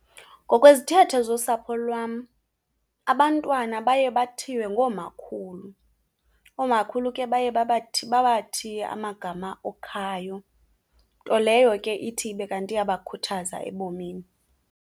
Ngokwezithethe zosapho lwam abantwana baye bathiywe ngoomakhulu. Oomakhulu ke baye babathiye amagama okhayo, nto leyo ke ithi ibe kanti iyabakhuthaza ebomini.